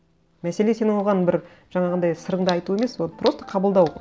мәселе сен оған бір жаңағындай сырыңды айту емес вот просто қабылдау